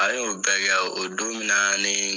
A y'o bɛɛ kɛ, o don min na nii